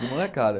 De molecada.